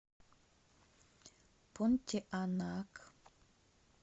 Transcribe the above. понтианак